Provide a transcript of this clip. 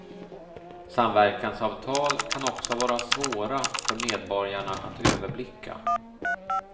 Samverkansavtal kan också vara svåra för medborgarna att överblicka.